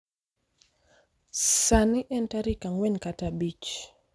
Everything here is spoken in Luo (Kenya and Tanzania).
Sani en tarik ang'wen kata abich